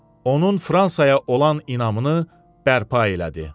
Onun Fransaya olan inamını bərpa elədi.